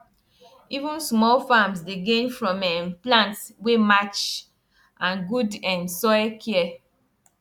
even small farms dey gain from um plant wey match and good um soil care